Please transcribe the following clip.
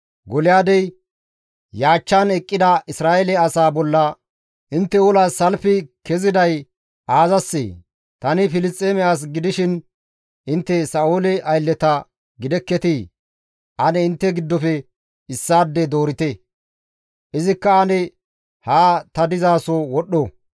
Golyaadey yaachchan eqqida Isra7eele asaa bolla, «Intte olas salfi keziday aazassee? Tani Filisxeeme as gidishin intte Sa7oole aylleta gidekketii? Ane intte giddofe issaade doorite; izikka ane haa ta dizaso wodhdho.